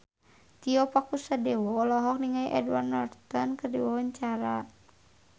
Tio Pakusadewo olohok ningali Edward Norton keur diwawancara